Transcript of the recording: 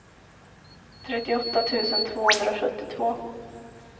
trettioåtta tusen tvåhundrasjuttiotvå